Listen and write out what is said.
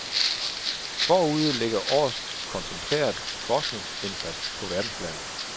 Forude ligger års koncentreret forskningsindsats på verdensplan.